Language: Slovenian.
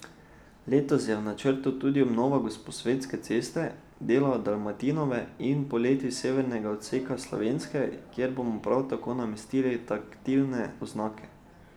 Letos je v načrtu tudi obnova Gosposvetske ceste, dela Dalmatinove in poleti severnega odseka Slovenske, kjer bomo prav tako namestili taktilne oznake.